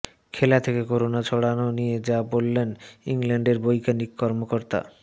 খেলা থেকে করোনা ছড়ানো নিয়ে যা বললেন ইংল্যান্ডের বৈজ্ঞানিক কর্মকর্তা